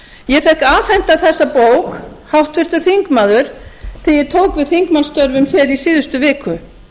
ég fékk afhenta þessa bók háttvirtur þingmaður þegar ég tók við þingmannsstörfum hér í síðustu viku